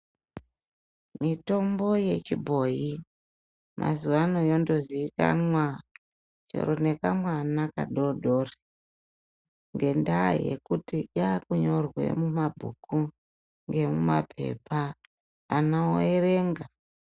Mitombo yechibhoyi mazuvano yondozikanwa chero nekamwana kadodori , ngendaya yokuti yakunyorwe mumabhuku ngemumaphepha ana wowerenga.